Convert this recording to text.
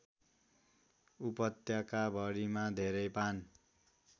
उपत्यकाभरिमा धेरै पान